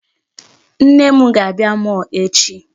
Nne m ga-abịa mall echi.